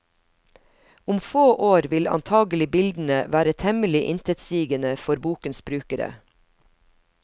Om få år vil antagelig bildene være temmelig intetsigende for bokens brukere.